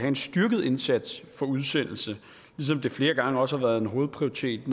en styrket indsats for udsendelse ligesom det flere gange også har været en hovedprioritet